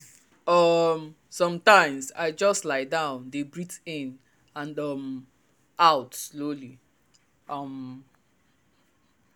um sometimes i just lie down dey breathe in and um out slowly. um